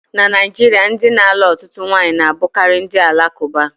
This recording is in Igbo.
Na Naijiria, ndị na-alụ ọtụtụ ụmụnwaanyi na-abụkarị ndị Alakuba